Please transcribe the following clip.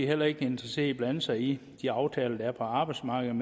heller ikke interesseret i at blande sig i de aftaler der er på arbejdsmarkedet